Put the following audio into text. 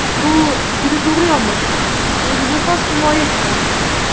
Bu juda to‘g‘ri yondashuv, o‘ziga xos himoya chorasi”.